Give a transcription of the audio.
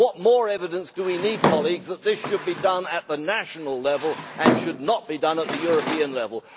What more evidence do we need that this should be done at the national level and should not be done at the European level?